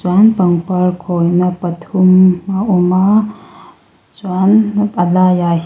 chuan pangpar khawi na pathum a awm a chuan a laiah hian--